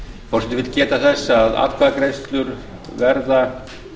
forseti vill geta þess að atkvæðagreiðslur verða